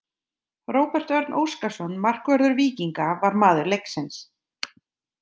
Róbert Örn Óskarsson, markvörður Víkinga, var maður leiksins.